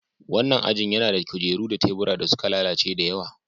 Wannan ajin yana da kujeru da tebura da suka lalace da yawa.